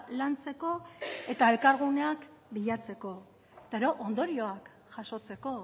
lantzeko eta elkarguneak bilatzeko eta gero ondorioak jasotzeko